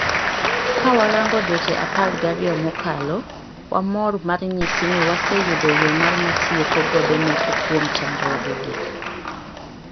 Ka warango dweche apar gariyo mokalo, wamor mar nyisi ni wase yudo yoo mar matieko godo moko kuom chandruoge gi.